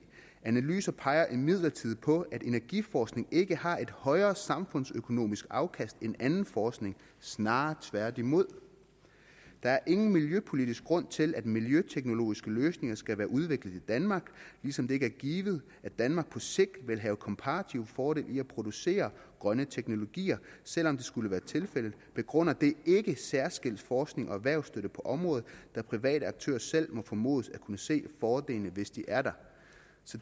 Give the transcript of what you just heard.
analyser peger imidlertid på at energiforskning ikke har et højere samfundsøkonomisk afkast end anden forskning snarere tværtimod der er ingen miljøpolitisk grund til at miljøteknologiske løsninger skal være udviklet i danmark ligesom det ikke er givet at danmark på sigt vil have komparative fordele i at producere grønne teknologier selvom det skulle være tilfældet begrunder det ikke særskilt forsknings og erhvervsstøtte på området da private aktører selv må formodes at kunne se fordelene hvis de er der